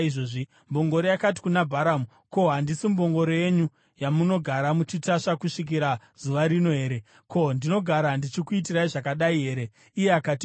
Mbongoro yakati kuna Bharamu, “Ko, handisi mbongoro yenyu, yamunogara muchitasva kusvikira zuva rino here? Ko, ndinogara ndichikuitirai zvakadai here?” Iye akati, “Kwete.”